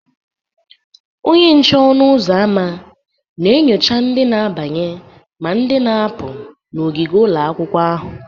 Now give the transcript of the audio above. Onye nche ọnụ ụzọ ámá na-enyocha ndị na-abanye ma na-apụ n'ogige ụlọ akwụkwọ ahụ.